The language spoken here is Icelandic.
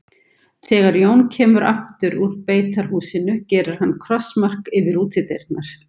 Þegar Jón kemur aftur út úr beitarhúsinu gerir hann krossmark yfir útidyrnar.